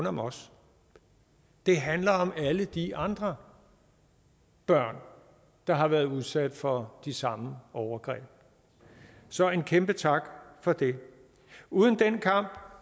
om os det handler om alle de andre børn der har været udsat for de samme overgreb så en kæmpe tak for det uden den kamp